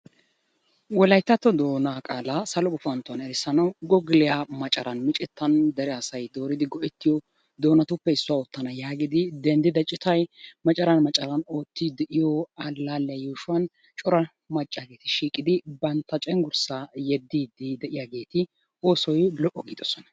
Wolayttatto doonaa qaalaa salo gufanttoon erissanawu googiliya macaran micettan dere asay dooridi go'ettiyo doonatuppe issuwa oottana yaagidi denddida citay macaran macaran oottiidde de'iyo alaalliyaa yuushuwan cora maccaageeti shiiqidi bantta cenggurssaa yediidi de'iyaageeti oosoy lo''o giidoosona.